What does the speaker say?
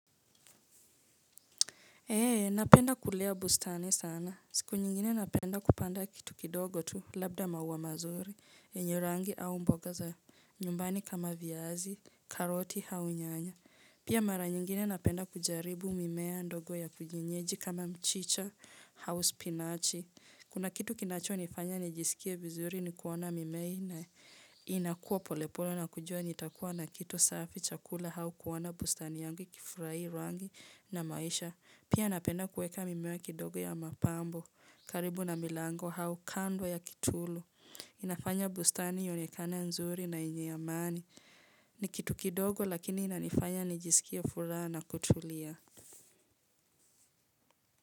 Eee, napenda kulea bustani sana. Siku nyingine napenda kupanda kitu kidogo tu, labda maua mazuri, yenye rangi au mboga za nyumbani kama viazi, karoti, au nyanya. Pia mara nyingine napenda kujaribu mimea ndogo ya kienyeji kama mchicha, au spinachi. Kuna kitu kinacho nifanya nijisikie vizuri ni kuona mimea na inakuwa polepole na kujua nitakuwa na kitu safi chakula au kuona bustani yangu ikifurahi rangi na maisha. Pia napenda kuweka mimea ya kidogo ya mapambo karibu na milango au kando ya kitulu. Inafanya bustani ionekane nzuri na yenye amani. Ni kitu kidogo lakini inanifanya nijisikie furaha na kutulia.